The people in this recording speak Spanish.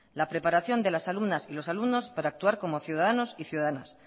la preparación de las alumnas y los alumnos para actuar como ciudadanos y ciudadanas